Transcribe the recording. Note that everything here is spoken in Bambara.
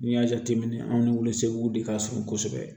N'i y'a jateminɛ anw ni wulasegin de ka surun kosɛbɛ